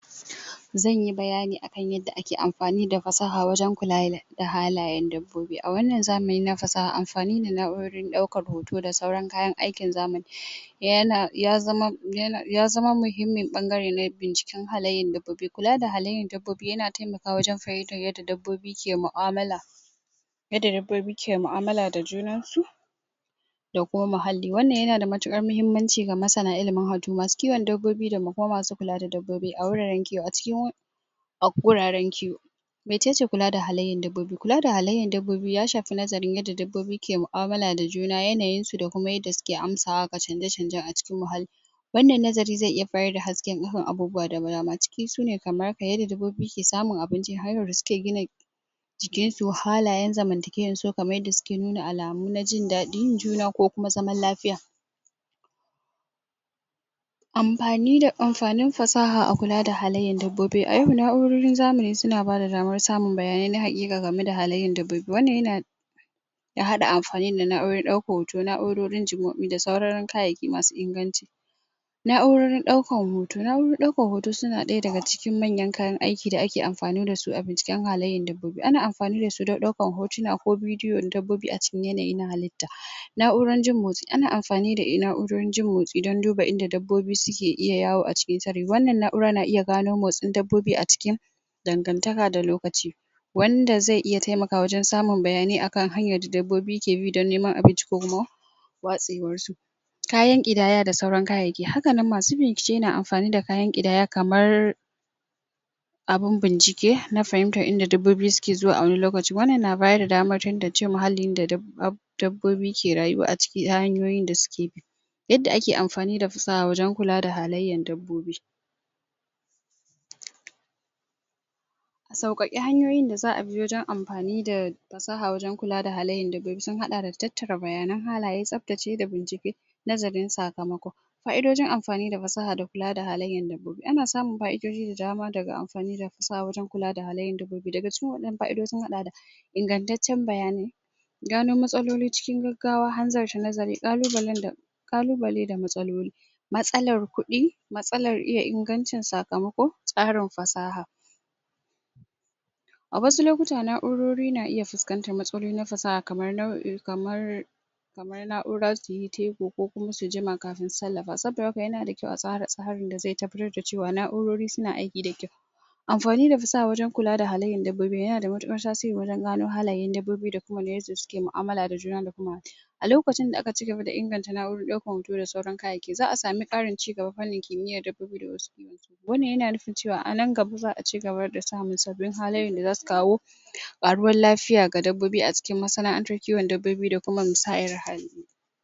Zanyi bayani akan yadda ake amfani da fasaha wajen kula da da halayen dabbobi .A wannan zamani na fasaha amfani da na'urar ɗaukar hoto da sauran kayan aikin zamani ya zama muhimmin ɓangare ne binciken halayyan dabbobi. Kula da halayyan dabbobi yana taimakawa wajen fahimtar yadda dabbobi ke mu'amala yadda dabbobi ke mu'amala da junan su da kuma muhalli. Wannan yanda da matuƙar mahimmanci ga masana ilimin watau masu kiwon dabbobi da kuma kula da dabbobi a wuraren kiwo a cikin a wuraren kiwo mecece kula da halayyan dabbobi? kula da halayyan dabbobi ya shafi nazarin yadda dabbobi ke mu'amala da juna yanayin su da kuma yadda suke amsawa ga canje canje a cikin muhalli wannan nazari zai iya haifar da hasken duhun abubuwa da dama cikin sune kamar yadda dabobbi ke samun abinci har da suke gina jikin su halayen zamantakewan su kaman yadda suke nuna alamu na jin daɗin juna ko kuma zaman lafiya amfanin fasaha a kula da halayyar dabbobi a yau na'urorin zamani suna bada damar samun bayanani na haƙiƙa gane da halayyan dabbobi. wannan yana ya haɗa da amfani da na'urorin ɗaukan hoto na'urorin da sauran kayyayaki masu inganci na'urorin ɗaukan hoto, na'urorin ɗaukan hoto suna ɗaya daga cikin manyan kayan aiki da ake amfani da su a binciken halayyan dabbobi. Ana amfani da su don ɗaukan hotuna ko bidiyon dabbobi a cikin yanayi na halitta. na'uran jin motsi ana amfani da na'uran jin motsi don duba inda dabbobi suke iya yawo a cikin sarari. wannan na'ura na iya gano motsin dabbobi a cikin dangantaka da lokaci wanda zai iya taimakawa wajen samun bayanai akan hanyar da dabbobi ke bi don neman abinci ko ruwa watsewar su kayan ƙidaya da sauran kayayyaki haka nan masu bincike na amfani da kayan ƙidaya kamar abun bincike na fahimtar yadda dabbobi suke zuwa a wani lokaci. wannan yana bayar da damar tantance muhallin da dabbobi ke rayuwa a ciki da hanyoyin da suke yadda ake amfani da fasaha wajen kula da hallayan dabbobi a sauƙaƙe hanyoyin da za a bi wajen amfani da fasaha wajen kula da halayyar dabbobi sun haɗa da tattara bayanan halaye tsaftace da bincike nazarin sakamako fa'idojin amfani da fasaha da kula da dabbobi, Ana amfani da fasaha wajen kula da halayyan dabbobi. daga cikin wa'innan fa'idoji sun haɗa da ingantaccen bayani gano matsaloli cikin gaggawa, hanzarta nazari, ƙalubalen da ƙalubale da matsaloli matsalar kuɗi matsalar iya ingancin sakamako tsarin fasaha a wasu lokuta na'urori na iya fuskantar matsalolin fasaha kamar kamar na'ura suyi saiti ko kuma su jima kafin sarrafawa saboda haka yana da kyau a tsara tsarin da zai tafiyar da cewa lallai na'urori suna aiki da kyau anfani da fasaha wajen kula da halayyar dabbobi yana da mtuƙar tasiri wajen gano halayen dabbobi da kuma yadda suke mu'amala da juna da kuma a lokacin da aka cigaba da inganta na'uran ɗaukar hoto da saura kayyayakin za a samu ƙarin cigaba ta fannin kimiyar dabbobi da wasu wannan yana nufin cewa a nan gaba za a cigaba da samar da sabbin hanyoyin da zasu kawo ƙaruwar lafiya ga dabbobi a cikin masana'antar kiwon dabbobi da kuma musayar hali.